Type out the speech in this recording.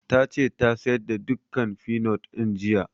Ta ce ta sayar da dukkan finot ɗin jiya